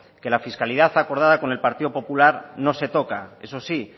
que la fiscalidad acordada con el partido popular no se toca eso sí